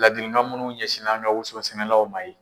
Laadilikan munnu ɲɛsinna an ka woson sɛnɛlaw ma ye.